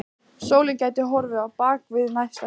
Sólin gæti horfið á bak við næsta ský.